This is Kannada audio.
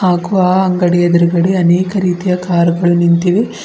ಅಕ್ವಾ ಅಂಗಡಿಯ ಎದ್ರುಗಡೆ ಅನೇಕ ರೀತಿಯ ಕಾರ್ ಗಳು ನಿಂತಿವೆ.